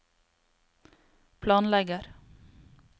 planlegger